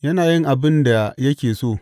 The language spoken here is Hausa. Yana yin abin da yake so.